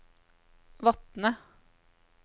Vatne